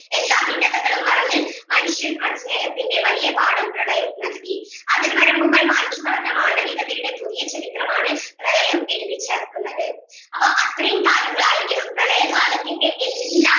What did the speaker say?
എല്ലാ ഭിന്നതകളും മറന്ന് മനുഷ്യ മ സ്നേഹത്തിൻ്റെ വലിയ പാഠം പ്രളയം നൽകി അതിർവരമ്പുകൾ മായ്ച്ചു കളഞ്ഞ മാനവികതയുടെ പുതിയ ചരിത്രം ആണ് പ്രളയം എഴുതി ചേർക്കുന്നത് അപ്പം അത്രേം കാര്യങ്ങൾ ആരിക്കണം പ്രളയ കാലത്തിൻ്റെ എല്ലാ